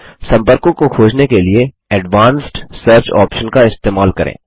सम्पर्कों को खोजने के लिए एडवांस्ड सर्च ऑप्शन का इस्तेमाल करें